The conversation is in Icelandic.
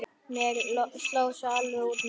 Mér sló alveg út núna.